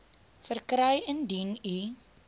verkry indien u